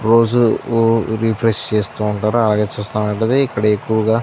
రోజు రిఫ్రెష్ చేస్తూ ఉంటారు. అలాగే చూస్తున్నట్లైతే ఇక్కడ --